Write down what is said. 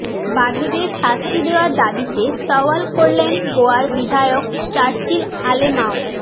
বাঘেদের শাস্তি দেওয়ার দাবিতে সওয়াল করলেন গোয়ার বিধায়ক চার্চিল আলেমাও